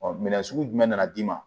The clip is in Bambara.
Ɔ minɛn sugu jumɛn nana d'i ma